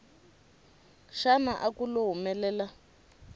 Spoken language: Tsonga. xana a ku lo humelela